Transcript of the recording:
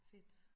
Fedt